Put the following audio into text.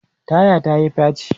taya ta Yi faci